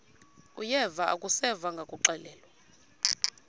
uyeva akuseva ngakuxelelwa